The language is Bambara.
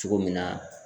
Cogo min na